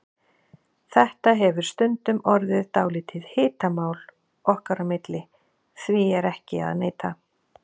Þetta hefur stundum orðið dálítið hitamál okkar á milli, því er ekki að neita.